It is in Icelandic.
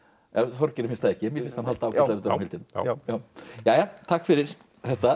Þorgeiri finnst það ekki en mér finnst hann halda ágætlega utan um heildina jæja takk fyrir þetta